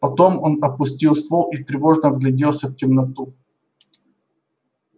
потом он опустил ствол и тревожно вгляделся в темноту